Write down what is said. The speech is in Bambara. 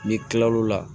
N'i kilal'o la